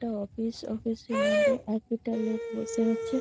একটা office office -এ মধ্যে একেটা লোক বসে আছে ।